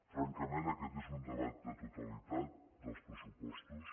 francament aquest és un debat de totalitat dels pressupostos